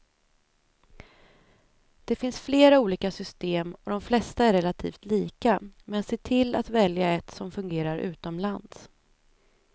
Det finns flera olika system och de flesta är relativt lika, men se till att välja ett som fungerar utomlands.